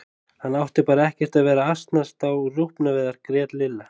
Hann átti bara ekkert að vera að asnast á rjúpnaveiðar grét Lilla.